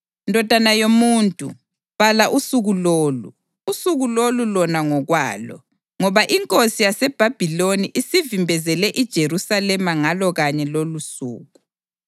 “Ndodana yomuntu, bhala usuku lolu, usuku lolu lona ngokwalo, ngoba iNkosi yaseBhabhiloni isivimbezele iJerusalema ngalo kanye lolusuku.